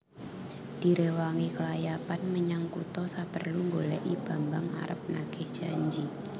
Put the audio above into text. Diréwangi klayapan menyang kutha saperlu nggolèki Bambang arep nagih janji